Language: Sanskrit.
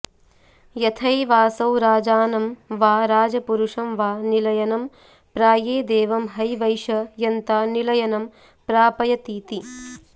यथैवासौ राजानं वा राजपुरुषं वा निलयनं प्रायेदेवं हैवैष यन्ता निलयनं प्रापयतीति